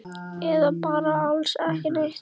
Eða bara alls ekki neitt?